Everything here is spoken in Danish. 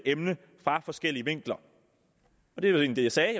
emne fra forskellige vinkler det jeg egentlig sagde